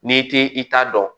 N'i t'i i ta dɔn